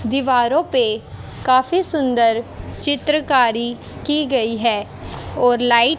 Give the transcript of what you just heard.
दीवारों पे काफी सुंदर चित्रकारी की गई है और लाइ--